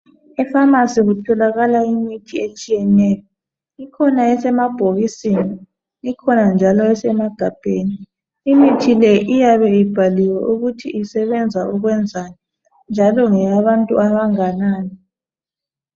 Efamasi kutholakala imithi etshiyeneyo ikhona esemabhokisini ikhona njalo esemagabheni imithi le iyabe ibhaliwe ukuthi isebenza ukwenzani njalo ngeyabantu abanganani